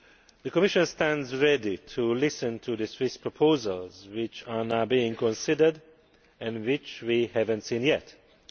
The Commission stands ready to listen to the Swiss proposals which are now being considered and which we have not yet seen.